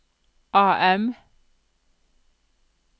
AM